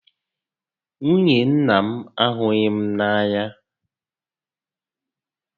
Nwunye nnà m ahughị m n'anya